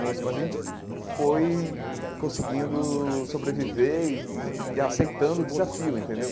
Mas a gente foi conseguindo sobreviver e e e aceitando o desafio, entendeu?